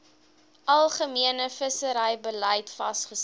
algemene visserybeleid vasgestel